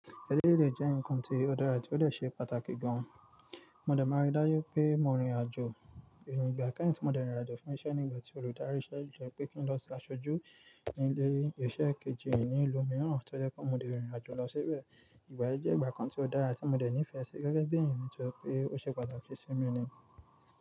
Eléyìí le jẹ́ ǹkan tí ó dára àti ó lè ṣe pàtàkì gan. Mo dẹ̀ máa rí dájú pé mo rìn ìrìnàjò, ìgbà kẹ́yìn tí mo de rìn ìrìnàjò fún iṣẹ́ nígbà tí olùdarí iṣẹ́ yín jẹ́ pé kí n lọ sí aṣojú nílé iṣẹ́ kejì ní ìlú mìíràn, tí ó jẹ́ kí mo de rìn ìrìnàjò lọ síbẹ̀. Ìgbà yí jẹ́ ìgbà kan tí ó dára tí mo dẹ̀ nífẹ̀ẹ́ sí gẹ́gẹ́ bí èèyàn tí ó ṣe pàtàkì sí mi ni.